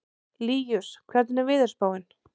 Líus, hvernig er veðurspáin?